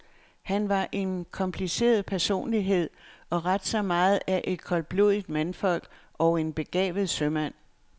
Han var en kompliceret personlighed og ret så meget af et koldblodigt mandfolk og en begavet sømand.